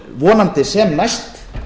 vonandi sem næst